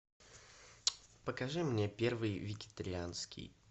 покажи мне первый вегетарианский